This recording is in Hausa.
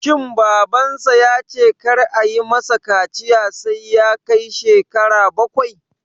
Shin Babansa ya ce kar ayi ma sa kaciya sai ya kai shekara bakwai?